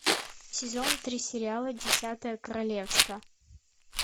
сезон три сериала десятое королевство